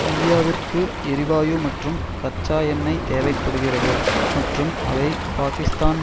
இந்தியாவிற்கு எரிவாயு மற்றும் கச்சா எண்ணெய் தேவை படுகிறது மற்றும் அவை பாக்கிஸ்தான்